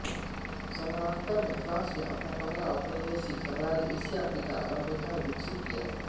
समानांतर में फ्रांस ने अपना पहला औपनिवेशिक साम्राज्य एशिया अफ्रीका और अमेरिका में विकसित किया